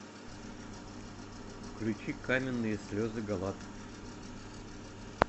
включи каменные слезы галат